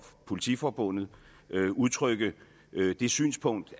politiforbundet udtrykke det synspunkt